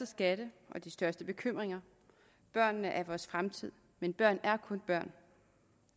skatte og de største bekymringer børnene er vores fremtid men børn er kun børn